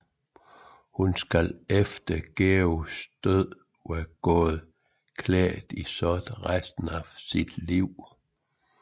Hun skal efter Georges død være gået klædt i sort resten af sit liv